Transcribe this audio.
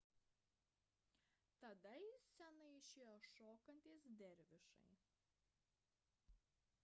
tada į sceną išėjo šokantys dervišai